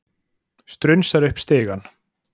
Strunsar upp stigann.